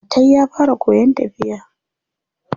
Atai ya fara koyan tafiya.